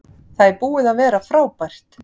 Það er búið að vera frábært